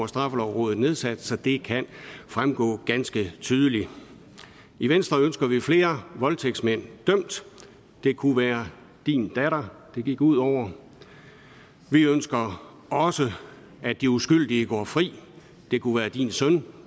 straffelovrådet nedsat så det kan fremgå ganske tydeligt i venstre ønsker vi flere voldtægtsmænd dømt det kunne være din datter det gik ud over vi ønsker også at de uskyldige går fri det kunne være din søn